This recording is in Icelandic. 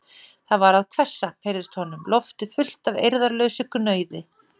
Það var að hvessa, heyrðist honum, loftið fullt af eirðarlausu gnauði.